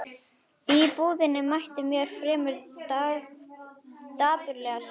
Í búðinni mætti mér fremur dapurleg sjón.